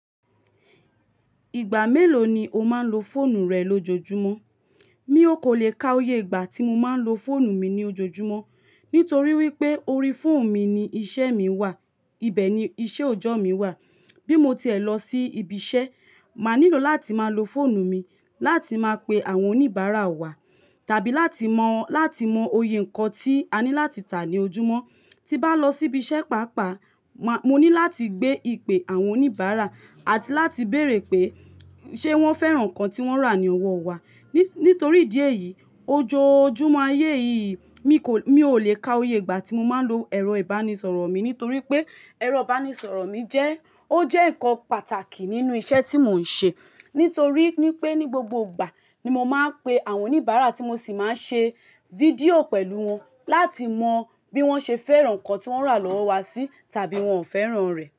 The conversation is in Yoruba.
Ìgbà mélòó ni o máa ń lo fóònù rẹ lójoojúmọ́? Mi ò kó le ka oye ìgbà tí mo máa ń lo fóònù mi ní ojoojúmọ́. Nítorí wípé orí fóònù mi ni iṣẹ́ mi wà, ibẹ̀ ni iṣẹ́ òjọ́ mi wà. Bí mo ti ẹ lọ sí ibi iṣẹ́, máa nílò láti máa lo fóònù mi láti máa pe àwọn oníbàárà wa, tàbí láti mọ, láti mọ oyè nǹkan tí a ní láti tà ní ojúmọ́. Tí bá lọ sí ibi iṣẹ́ pàápàá, má, mo ní láti gbé ìpè àwọn oníbàárà àti láti béèrè pé ṣe wọ́n fẹ́ràn nǹkan tí wọ́n rà ní ọwọ́ wa. Nítorí ìdí èyìí, ojoojúmọ́ ayé yìí mi kò, mi ò lè ka oye ìgbà tí mo máa ń lo ẹ̀rọ ìbánisọ̀rọ̀ mi, nítorí pé ẹ̀rọ ìbánisọ̀rọ̀ mi jẹ́, ó jẹ́ nǹkan pàtàkì nínú iṣẹ́ tí mò ń ṣe. Nítorí pé ní gbogbo ìgbà ni mo máa ń pe àwọn oníbàárà tí mo sì máa ń ṣe fídíò pẹ̀lú wọn láti mọ bí wọ́n ṣe fẹ́ràn nǹkan tí wọ́n rà lọ́wọ́ wa sí tàbí wọn ò fẹ́ràn rẹ̀